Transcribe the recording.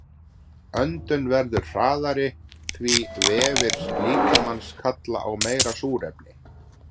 Öndun verður hraðari því vefir líkamans kalla á meira súrefni.